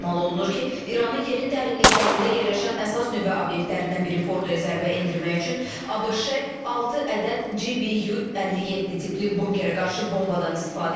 Ehtimal olunur ki, İranın yerin dərinliklərində yerləşən əsas nüvə obyektlərindən biri Fordoya zərbə endirmək üçün ABŞ 6 ədəd GBU-57 tipli bunkərə qarşı bombadan istifadə edib.